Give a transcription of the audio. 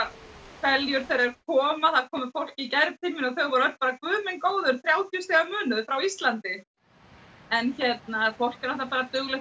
hveljur þegar þeir koma það kom fólk í gær til mín og þau voru alveg guð minn góður þrjátíu stiga munur frá Íslandi en fólk er duglegt að